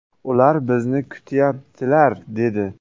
Ular bizni kutayaptilar” dedi.